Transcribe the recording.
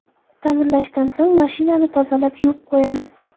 Ta’mirlashdan so‘ng mashinani tozalab, yuvib qo‘yaman.